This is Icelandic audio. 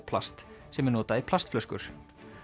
plast sem er notað í plastflöskur